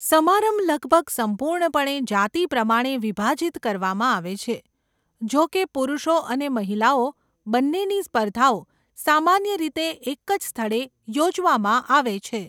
સમાંરભ લગભગ સંપૂર્ણપણે જાતિ પ્રમાણે વિભાજિત કરવામાં આવે છે, જોકે પુરુષો અને મહિલાઓ બંનેની સ્પર્ધાઓ સામાન્ય રીતે એક જ સ્થળે યોજવામાં આવે છે.